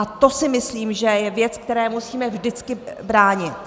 A to si myslím, že je věc, které musíme vždycky bránit.